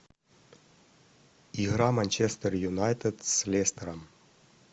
игра манчестер юнайтед с лестером